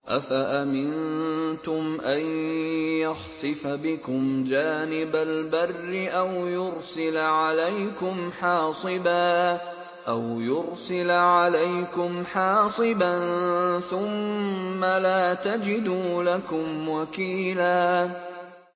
أَفَأَمِنتُمْ أَن يَخْسِفَ بِكُمْ جَانِبَ الْبَرِّ أَوْ يُرْسِلَ عَلَيْكُمْ حَاصِبًا ثُمَّ لَا تَجِدُوا لَكُمْ وَكِيلًا